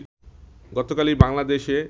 গতকালই বাংলাদেশে